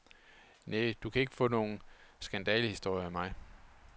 Næ, du kan ikke få nogle skandalehistorier af mig.